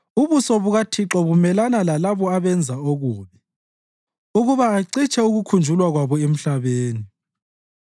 ubuso bukaThixo bumelana lalabo abenza okubi, ukuba acitshe ukukhunjulwa kwabo emhlabeni.